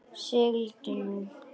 Sigldu nú.